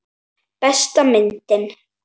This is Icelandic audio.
Besta myndin.